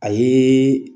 A ye